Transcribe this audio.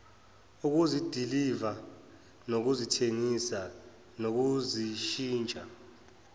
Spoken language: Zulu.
ukuzidiliva nokuzithengisa nokuzishintsha